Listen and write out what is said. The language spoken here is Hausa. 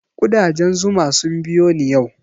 Ƙudajen zuma sun biyo ni yau